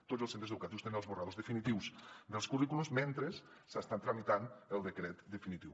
tots els centres educatius tenen els esborranys definitius dels currículums mentre s’està tramitant el decret definitiu